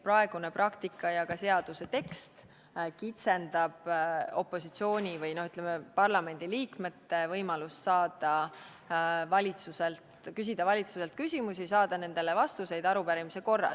Praegune praktika ja ka seaduse tekst tegelikult kitsendavad opositsiooni või parlamendi liikmete võimalust küsida valitsuselt küsimusi ja saada nendele vastuseid arupärimise korras.